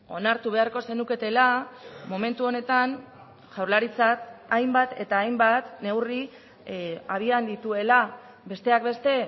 onartu beharko zenuketela momentu honetan jaurlaritzak hainbat eta hainbat neurri abian dituela besteak beste